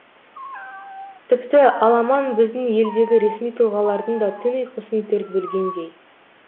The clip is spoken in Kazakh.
тіпті аламан біздің елдегі ресми тұлғалардың да түн ұйқысын төрт бөлгендей